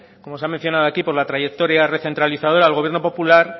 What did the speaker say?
como se ha mencionado aquí por la trayectoria recrentralizadora al gobierno popular